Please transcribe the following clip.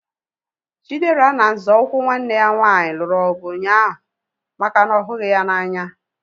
Chidera na nzọụkwụ nwanne ya nwaanyị lụrụ ọgụ ụnyaahụ maka na ọ ghughi ya n'anya